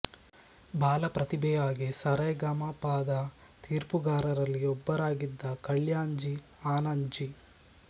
ಬಾಲಪ್ರತಿಭೆಯಾಗಿ ಸ ರೆ ಗ ಮ ಪ ದ ತೀರ್ಪುಗಾರಾಲ್ಲಿ ಒಬ್ಬರಾಗಿದ ಕಲ್ಯಾಣ್ಜಿ ಆನಂದ್ಜಿ